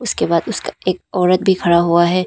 उसके बाद उसका एक औरत भी खड़ा हुआ है।